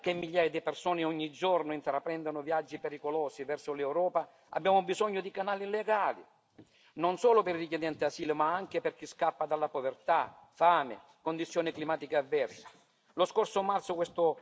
E se vogliamo davvero evitare che migliaia di persone ogni giorno intraprendano viaggi pericolosi verso l'Europa, abbiamo bisogno di canali legali non solo per i richiedenti asilo, ma anche per chi scappa da povertà, fame e condizioni climatiche avverse.